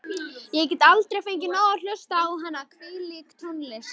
Ég get aldrei fengið nóg af að hlusta á hana, hvílík tónlist.